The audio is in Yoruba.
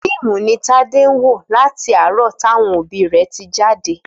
Fíìmù ni Tádé ń wò láti àárọ̀ tí àwọn rẹ̀ tí jáde